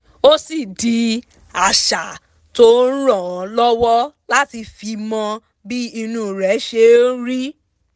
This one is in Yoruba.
ó sì di àṣà tó ń ràn án lọ́wọ́ láti fi mọ bí inú rẹ ṣe ń rí